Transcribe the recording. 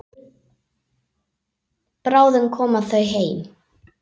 Bráðum koma þau heim.